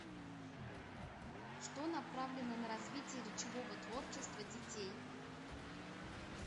что направлено на развитие речевого творчества детей